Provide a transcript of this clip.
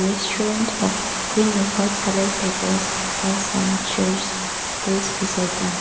restaurant have green a white colour tables and some chairs place beside them.